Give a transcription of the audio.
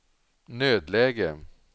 nödläge